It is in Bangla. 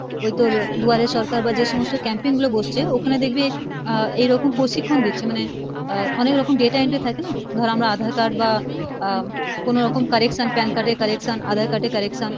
ওই তোর দুয়ারে সরকার বা যে সমস্ত camping গুলো বসছে ওখানে দেখবি আহ এইরকম প্রশিক্ষন দিচ্ছে মানে আহ অনেকরকম data entry থাকে না? ধর আমরা aadhar card বা আহ কোনোরকম correction PAN card এর correction, aadhar card এর correction,